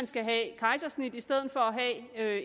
skal have kejsersnit i stedet for at